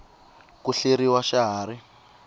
ku hleriw xa ha ri